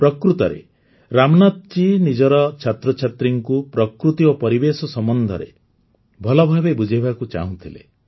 ପ୍ରକୃତରେ ରାମନାଥ ଜୀ ନିଜର ଛାତ୍ରଛାତ୍ରୀଙ୍କୁ ପ୍ରକୃତି ଓ ପରିବେଶ ସମ୍ପର୍କରେ ଭଲଭାବେ ବୁଝାଇବାକୁ ଚାହୁଁଥିଲେ